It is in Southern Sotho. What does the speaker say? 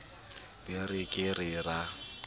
be re ke ke ra